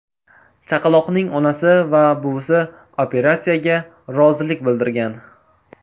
Chaqaloqning onasi va buvisi operatsiyaga rozilik bildirgan.